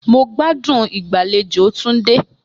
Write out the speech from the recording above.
Mo gbádùn ìgbàlejò Tunde